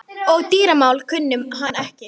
Og dýramál kunni hann ekki.